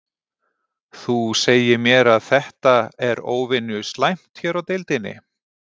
Þú segir mér að þetta, er óvenju slæmt hér á deildinni?